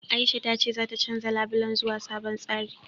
Aisha ta ce zata canja labulen zuwa sabon tsari.